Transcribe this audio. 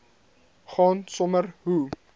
gaan sommer hoe